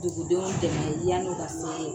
Dugudenw dɛmɛ yan'u ka se ye